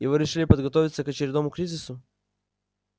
и вы решили подготовиться к очередному кризису